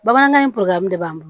Bamanan in de b'an bolo